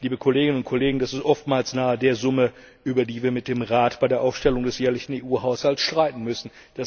Liebe Kolleginnen und Kollegen, das ist oftmals nahe der Summe, über die wir mit dem Rat bei der Aufstellung des jährlichen EU Haushalts streiten müssen.